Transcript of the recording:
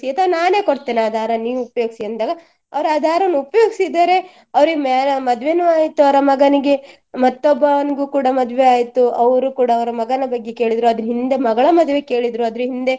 ಅಥವಾ ನಾನೇ ಕೊಡ್ತೇನೆ ಆ ದಾರ ನೀವು ಉಪಯೋಗಿಸಿ ಅಂದಾಗ ಅವ್ರು ಆ ದಾರನ ಉಪಯೋಗಿಸಿದ್ದಾರೆ ಅವ್ರಿಗೆ ma~ ಮದ್ವೆನು ಆಯ್ತು ಅವ್ರ ಮಗನಿಗೆ ಮತ್ತೊಬ್ಬನಿಗೂ ಕೂಡಾ ಮದ್ವೆಯಾಯ್ತು ಅವರು ಕೂಡಾ ಅವರ ಮಗನ ಬಗ್ಗೆ ಕೇಳಿದ್ರು ಅದರ ಹಿಂದೆ ಮಗಳ ಮದ್ವೆ ಕೇಳಿದ್ರು ಅದರ ಹಿಂದೆ